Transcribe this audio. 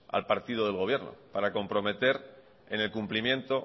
al partido del gobierno para comprometer en el cumplimiento